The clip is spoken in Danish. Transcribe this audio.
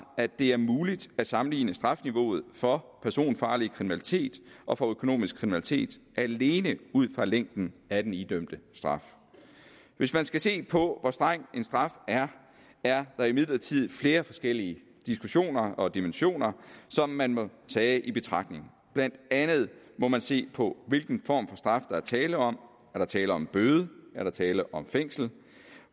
at det er muligt at sammenligne strafniveauet for personfarlig kriminalitet og for økonomisk kriminalitet alene ud fra længden af den idømte straf hvis man skal se på hvor streng en straf er er der imidlertid flere forskellige diskussioner og dimensioner som man må tage i betragtning blandt andet må man se på hvilken form for straf der er tale om er der tale om bøde er der tale om fængsel